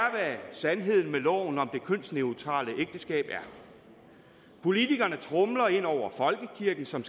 sandheden om loven om det kønsneutrale ægteskab politikerne tromler ind over folkekirken som